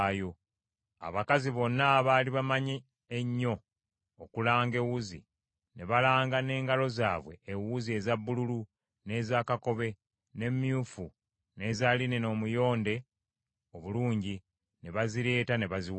Abakazi bonna abaali bamanyi ennyo okulanga ewuzi, ne balanga n’engalo zaabwe ewuzi eza bbululu, n’eza kakobe, n’emyufu n’eza linena omuyonde obulungi, ne bazireeta ne baziwaayo.